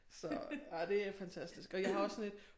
Så og det er fantastisk og jeg har også sådan et